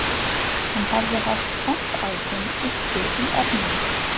Hann hafði haft trompásinn uppi í erminni